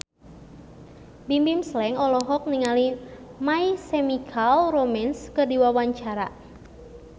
Bimbim Slank olohok ningali My Chemical Romance keur diwawancara